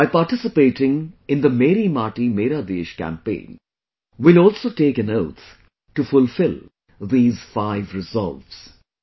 By participating in the 'Meri Mati Mera Desh' campaign, we will also take an oath to fulfil these 'five resolves'